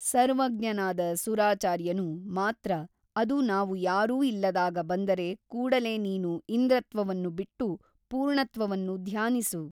ಸರ್ವಜ್ಞನಾದ ಸುರಾಚಾರ್ಯನು ಮಾತ್ರ ಅದು ನಾವು ಯಾರೂ ಇಲ್ಲದಾಗ ಬಂದರೆ ಕೂಡಲೇ ನೀನು ಇಂದ್ರತ್ವವನ್ನು ಬಿಟ್ಟು ಪೂರ್ಣತ್ವವನ್ನು ಧ್ಯಾನಿಸು.